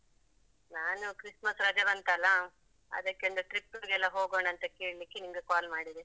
ನಾನು christmas ರಜೆ ಬಂತಲ್ಲಾ, ಅದಕ್ಕೆಂದು trip ಗೆಲ್ಲಾ ಹೋಗೋಣ ಅಂತ ಕೇಳ್ಲಿಕ್ಕೆ ನಿಮ್ಗೆ call ಮಾಡಿದೆ.